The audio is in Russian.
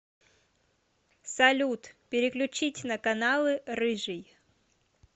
салют переключить на каналы рыжий